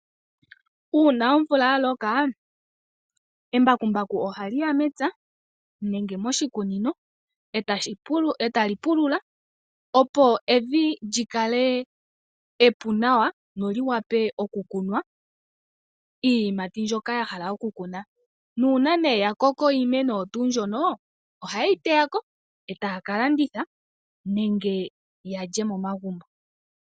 Uuna omvula ya loka, embakumbaku ohali ya mepya nenge moshikunino, e tali pulula opo evi lyi kale epu nawa lyo li wape oku kunwa iiyimati mbyoka ya hala okukuna. Nuuna nee ya koko iimeno oyo tuu mbyono ohaye yi teya ko etaa ka landitha nenge ya lye momagumbo.